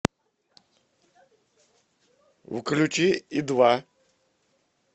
включи и два